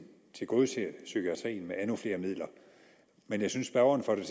tilgodeser psykiatrien med endnu flere midler men jeg synes spørgeren får det